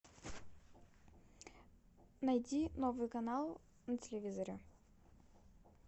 найди новый канал на телевизоре